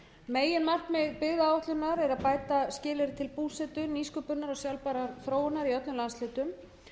meginmarkmið byggðaáætlunar er að bæta skilyrði til búsetu nýsköpunar og sjálfbærrar þróunar i öllum landshlutum